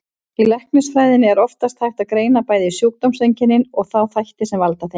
Í læknisfræðinni er oftast hægt að greina bæði sjúkdómseinkennin og þá þætti sem valda þeim.